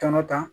Tɔnɔ ta